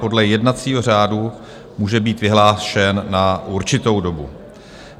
Podle jednacího řádu může být vyhlášen na určitou dobu.